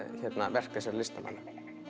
verk þessara listamanna